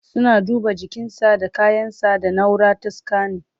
Suna duba jikinsa da kayan sa da naura ta scanning